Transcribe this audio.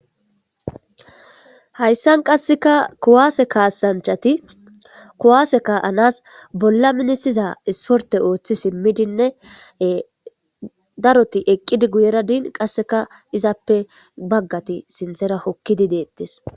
hayssan qasseka kowaase kaasanchati kuwaase ka7anas bolla minisiza isporte ooththi simmidinne daroti eqqidi guyera diin qasseka izappe baggati sintera hokkidi deettes